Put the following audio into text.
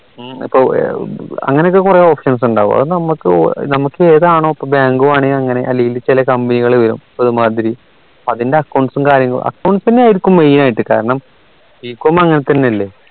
അങ്ങനെ ഒക്കെ കുറെ options ഉണ്ടാകും അത് നമുക്ക് നമുക്ക് ഏതാണോ ഇപ്പോ bank വേണേൽ അങ്ങനെ അല്ലേ ചില company കൾ വരും കാരണം ഒരുമാതിരി അതിന്റെ accounts ഉം കാര്യങ്ങളും account തന്നെ ആയിരിക്കും main ആയിട്ട് കാരണം bcom അങ്ങനെ തന്നെയല്ലേ